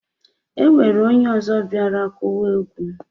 Enwere onye ozo biara kụwa ekwe